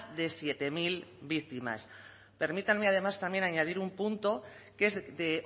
de siete mil víctimas permítanme además también añadir un punto que es de